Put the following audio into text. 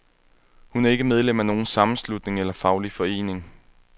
Hun er ikke medlem af nogen sammenslutning eller faglig forening.